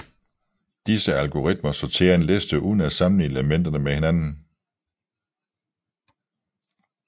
Disse algoritmer sorter en liste uden at sammenligne elementerne med hinanden